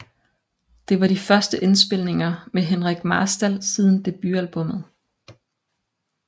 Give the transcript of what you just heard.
Det var de første indspilninger med Henrik Marstal siden debutalbummet